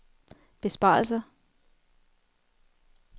besparelser